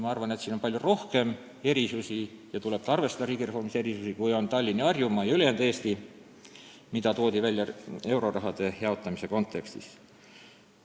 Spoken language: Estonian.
Ma arvan, et siin on palju rohkem erinevusi ja riigireformis tuleb ka arvestada rohkem erinevusi kui erinevust Tallinna ja Harjumaa ning ülejäänud Eesti vahel, mida toodi viimati välja euroraha jaotamise arutelude kontekstis.